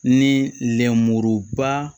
Ni lenmuruba